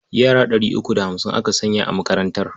Yara ɗari uku da hamsin aka sanya a makarantar.